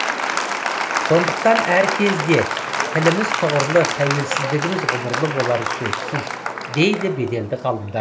сондықтан әркезде тіліміз тұғырлы тәуелсіздігіміз ғұмырлы болары сөзсіз дейді беделді ғалымдар